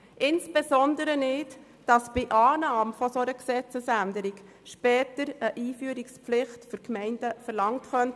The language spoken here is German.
Insbesondere nicht, weil bei Annahme einer solchen Gesetzesänderung später von den Gemeinden eine Einführungspflicht verlangt werden könnte.